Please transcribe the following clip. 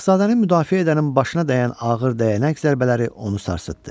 Şahzadəni müdafiə edənin başına dəyən ağır dəyənək zərbələri onu sarsıtdı.